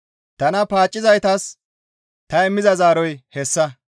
Tana paaccizaytas ta immiza zaaroy hessa.